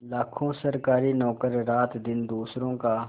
लाखों सरकारी नौकर रातदिन दूसरों का